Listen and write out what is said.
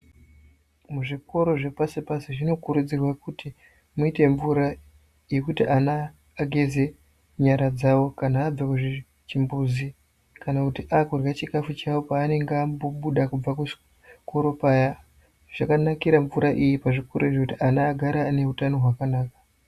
Muzvikoro zvepasi pasi ,zvinokurudzirwa kuti muite mvura yekuti ana vageze nyara dzavo kana abve muzvimbuzi kana kuti akudya chikafu chavo pavanenga aambobuda kubva muchikora paya .Zvakanakira mvura iyi kuzvikora izvo kuti vanha ava vagare vanehutano hwakanaka.